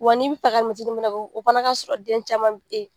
Wa n'i bi fɛ ka fana kɛ o fana ka sɔrɔ den caman .